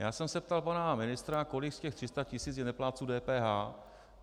Já jsem se ptal pana ministra, kolik z těch 300 tisíc je neplátců DPH.